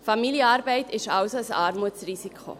Familienarbeit ist also ein Armutsrisiko.